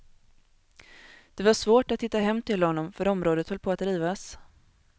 Det var svårt att hitta hem till honom för området höll på att rivas.